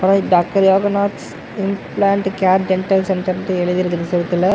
Doctor Yoganath's implant care dental சென்டர்னு எழுதிருக்குது செவுத்துல.